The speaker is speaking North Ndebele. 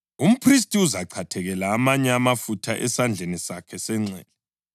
Umphristi uzachathekela amanye amafutha esandleni sakhe senxele,